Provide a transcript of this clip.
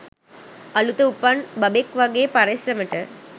අළුත උපන් බබෙක් වගේ පරිස්සමට.